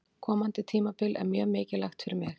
Komandi tímabil er mjög mikilvægt fyrir mig.